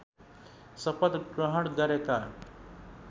शपथ ग्रहण गरेका